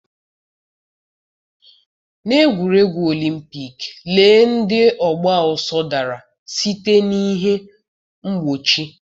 N'egwuregwu Olympic, lee ndị ọgba ọsọ dara site n'ihe mgbochi.